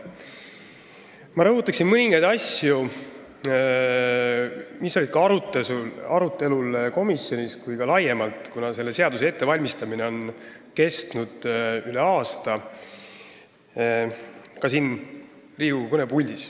Ma rõhutan siin Riigikogu kõnepuldis mõningaid asju, mis on olnud arutelu all nii komisjonis kui ka laiemalt, kuna selle seaduse ettevalmistamine on kestnud üle aasta.